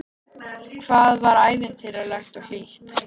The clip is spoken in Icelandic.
Hvað það var ævintýralegt og hlýtt.